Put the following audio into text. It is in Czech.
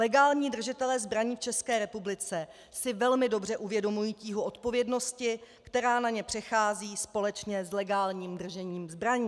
Legální držitelé zbraní v České republice si velmi dobře uvědomují tíhu odpovědnosti, která na ně přechází společně s legálním držením zbraní.